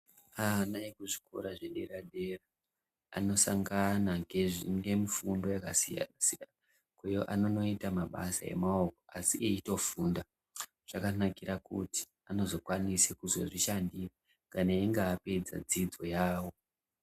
Ana eku zvikora zve dera dera ano sangana ngemu fundo yaka siyana siyana uye anonoita mabasa e maoko asi eito funda zvakanakira kuti anozo kwanise kuzozvi shandira kana einge apedza dzidzo yavo.